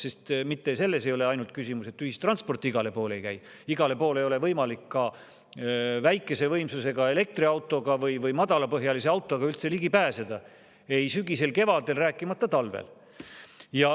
Sest mitte ainult selles ei ole küsimus, et ühistransport igale poole ei käi, vaid igale poole ei ole võimalik ka väikese võimsusega elektriautoga või madalapõhjalise autoga üldse ligi pääseda – ei sügisel ega kevadel, rääkimata talvest.